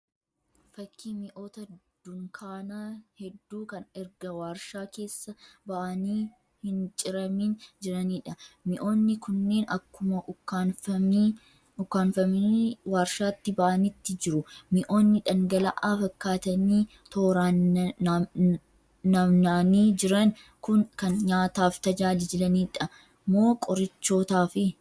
Fakkii mi'oota dunkaanaa hedduu kan erga warshaa keessaa ba'aaniii hin ciramiin jiraniidha. Mi'oonni kunneen akkuma ukkaanfamii warshaati ba'aanitti jiru. Mi'oonni dhangala'aa fakkaataanii tooraan nammanii jiran kun kan nyaataaf tajaajilaniidha moo qorichoota?